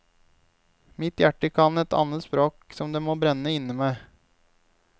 Mitt hjerte kan et annet språk som det må brenne inne med.